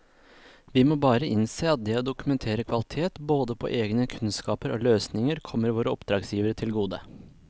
Vi må bare innse at det å dokumentere kvalitet både på egne kunnskaper og løsninger kommer våre oppdragsgivere til gode.